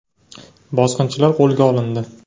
Bosqinchilar qo‘lga olindi.